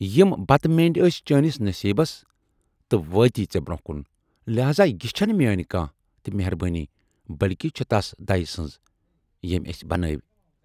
یِم بتہٕ مینڈۍ ٲس چٲنِس نصیٖبس تہٕ وٲتی ژیے برونہہ کُن، لہذا یہِ چھَنہٕ میٲنۍ کانہہ تہِ مٮ۪ہربٲنۍ بٔلۍکہِ چھَ تَس دَیہِ سٕنز یمٔۍ ٲسۍ بنٲوۍ